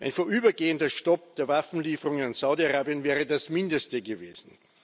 Ein vorübergehender Stopp der Waffenlieferungen an Saudi Arabien wäre das Mindeste gewesen.